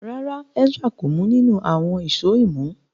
ràrá Ezra kò mu ninu awọn Èṣó imú.